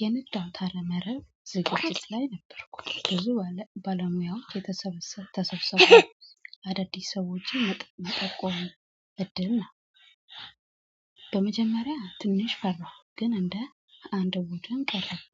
የንድም ታለመረብ ዝግጅት ላይ ነበርኩ ብዙ ባለሙያዎች የተሰበሰበ ተሰብስበው አዳዲስ ሰዎችን መጠቆም እድል ነው። በመጀመሪያ ትንሽ ፈራሁ ግን እንደ አንድ ወጥም ቀረቁ።